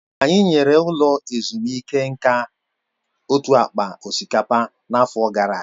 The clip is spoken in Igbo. Anyị nyere ụlọ ezumike nka otu akpa osikapa n'afọ gara aga